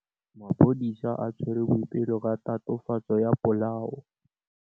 Maphodisa a tshwere Boipelo ka tatofatsô ya polaô.